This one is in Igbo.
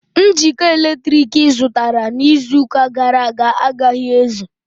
Njikọ eletriki ị zụtara n'izu ụka gàrà aga agaghi ézù